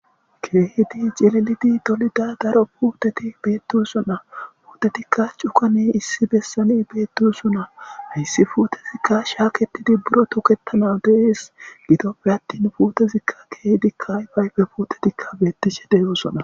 Keehidi cililidi tolida daro puuteti beettusunna puutetikka cukane issi bessani beetdusunna issi fuutezikka shaaketidi buro tuketana dees gidoppe attin puutezikka keehdikkay payfe puutetikka beettishe deegosona.